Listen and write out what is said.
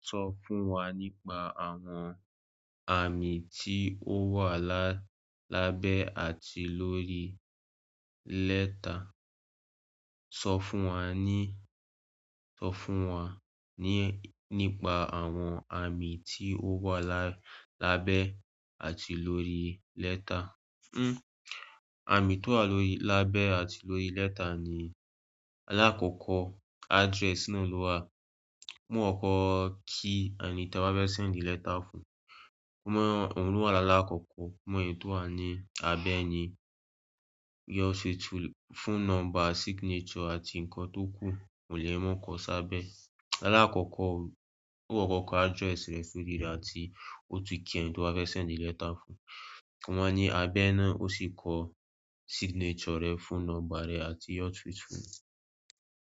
Sọ fún wa nípa àwọn àmì tí ó wà lá- lábẹ́ àti lórí lẹ́tà. Sọ fún wa ní- sọ fún wa ní- nípa àwọn àmì tí ó wà la- lábẹ́ àti lórí lẹ́tà. Hmm, àmì tó wà lórí- lábẹ́ àti lórí lẹ́tà ni aláàkóko address ná ló wà. Mú ọkọ kí ẹnití a wà fẹ́ send the letter fún. Mo ohun ló wà láakọ́kọ́, mọ́ èyí tó wà ní abẹ́ ní yours faithfully fọ̀ne nọ́ḿbà, signature àti nǹkan tó kú, kò lè mú nǹkan sábẹ̀. Aláàkọ́kọ́, ó kọ́kọ̀ ọkọ̀ address rẹ̀ sórí rẹ̀ àti ó tu ki ẹ̀tọ́ wá fẹ́ send the letter fún. Wọ́n ní abẹ́ náà ó sì kọ signature rẹ̀ fún nọ́ḿbà rẹ̀ àti your street fún un.